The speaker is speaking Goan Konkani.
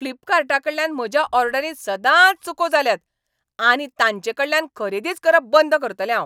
फ्लीपकार्टाकडल्यान म्हज्या ऑर्डरींत सदांच चुको जाल्यात आनी तांचेकडल्यान खरेदीच करप बंद करतलें हांव.